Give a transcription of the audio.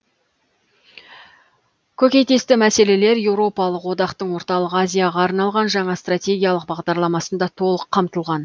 көкейтесті мәселелер еуропалық одақтың орталық азияға арналған жаңа стратегиялық бағдарламасында толық қамтылған